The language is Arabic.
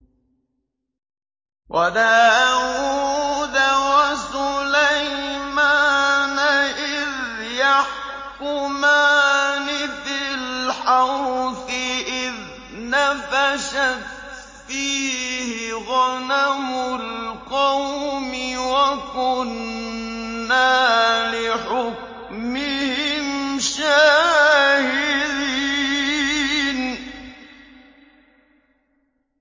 وَدَاوُودَ وَسُلَيْمَانَ إِذْ يَحْكُمَانِ فِي الْحَرْثِ إِذْ نَفَشَتْ فِيهِ غَنَمُ الْقَوْمِ وَكُنَّا لِحُكْمِهِمْ شَاهِدِينَ